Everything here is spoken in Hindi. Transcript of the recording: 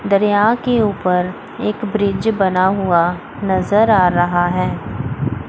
दरियाओं के ऊपर एक ब्रिज बना हुआ नजर आ रहा है।